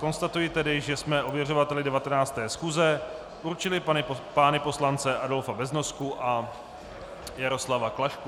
Konstatuji tedy, že jsme ověřovateli 19. schůze určili pány poslance Adolfa Beznosku a Jaroslava Klašku.